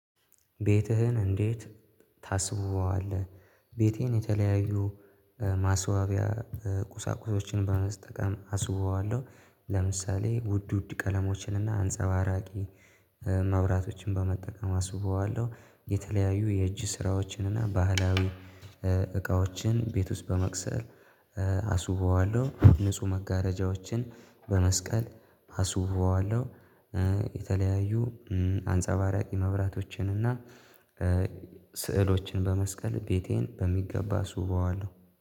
ቤትህን እንዴት ታስውበዋለህ? ቤቴን የተለያዩ ማስዋቢያ ቁሳቁሶች በመጠቀም አስውበዋለሁ ለምሳሌ ውድ ውድ ቀለሞችን እና አንጸባራቂ መብራቶችን በመጠቀም አስውበዋለሁ የተለያዩ የእጅ ስራዎችን እና ባህላዊ ቤት ውስጥ በመቅሰል አስውበዋለሁ ንጹህ መጋረጃዎችን በመስቀል አስውበዋለሁ የተለያዩ አንጸባራቂ መብራቶችን እና ስዕሎችን በመስቀል ቤቴን በሚገባ አስውበዋለሁ